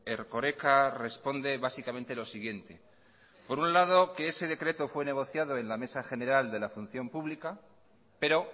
erkoreka responde básicamente lo siguiente por un lado que ese decreto fue negociado en la mesa general de la función pública pero